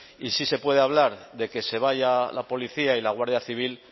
y sí se puede hablar de que se vaya la policía y la guardia civil